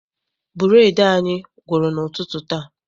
Bureedi anyị gwụrụ n'ụtụtụ taa.